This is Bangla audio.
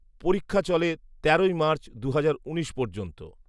পরীক্ষা চলে তেরোই মার্চ দুহাজার উনিশ পর্যন্ত